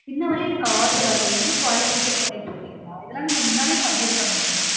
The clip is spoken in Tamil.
இன்ன வர எனக்கு order வரல என்ன quality check பண்ணிட்டுருகீங்க இதெல்லாம் நீங்க முன்னாடியெ பண்ணிருக்கனுமே